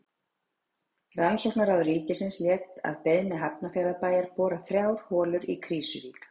Rannsóknaráð ríkisins lét að beiðni Hafnarfjarðarbæjar bora þrjár holur í Krýsuvík.